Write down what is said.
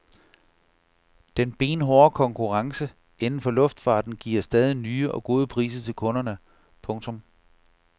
Den benhårde konkurrence inden for luftfarten giver stadig nye og gode priser til kunderne. punktum